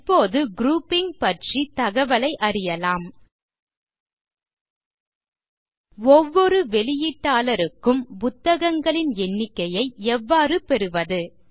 இப்போது குரூப்பிங் பற்றிய தகவலை அறியலாம் ஒவ்வொரு வெளியீட்டாளருக்கும் புத்தகங்களின் எண்ணிக்கையை எவ்வாறு பெறுவது